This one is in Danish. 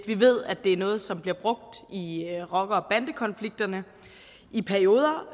vi ved at det er noget som bliver brugt i rocker og bandekonflikterne i perioder